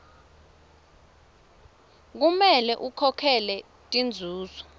kumele akhokhele tinzuzo